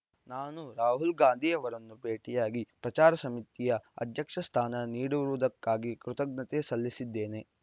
ನಾನು ರಾಹುಲ್ ಗಾಂಧಿ ಅವರನ್ನು ಭೇಟಿಯಾಗಿ ಪ್ರಚಾರ ಸಮಿತಿಯ ಅಧ್ಯಕ್ಷ ಸ್ಥಾನ ನೀಡಿರುವುದಕ್ಕಾಗಿ ಕೃತಜ್ಞತೆ ಸಲ್ಲಿಸಿದ್ದೇನೆ